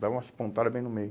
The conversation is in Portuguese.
Dá umas pontada bem no meio.